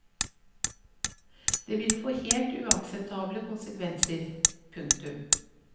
Det ville få helt uakseptable konsekvenser. punktum